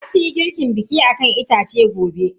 Zasuyi girkin bikin akan itace gobe.